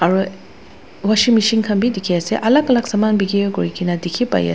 aru washing machine khan bhi dikhi ase alag alag saman bikhri kuri na dikhi pai ase.